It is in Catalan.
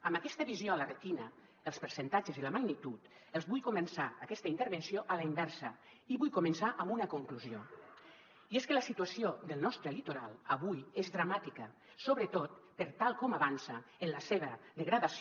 amb aquesta visió a la retina els percentatges i la magnitud els vull començar aquesta intervenció a la inversa i vull començar amb una conclusió i és que la situació del nostre litoral avui és dramàtica sobretot per tal com avança en la seva degradació